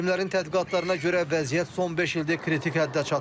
Alimlərin tədqiqatlarına görə vəziyyət son beş ildə kritik həddə çatıb.